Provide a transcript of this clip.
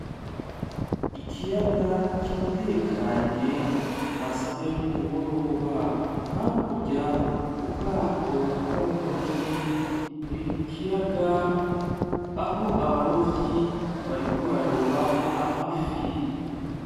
Ikiyaga kiratekanye amasaha yo kumugoroba hakurya ubgato bgabarovyi buri ku kiyaga aho abarovyi bariko bararoba amafi.